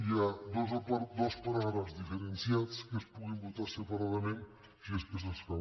hi ha dos paràgrafs diferenciats que es puguin votar separadament si és que s’escau